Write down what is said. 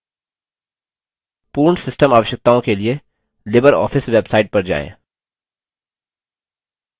पूर्ण सिस्टम आवश्यकताओं के लिए लिबरऑफिस बेवसाइट पर जाएँ